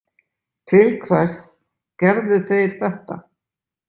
Til hvers gerðu þeir þetta?